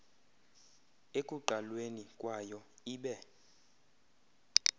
ekuqalweni kwayo ibe